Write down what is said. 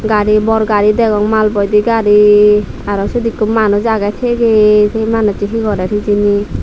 gaari bor gaari degong maal boide gaari aro siyot ikko manuj degong tiye tiye se manujcho he gorer hijeni.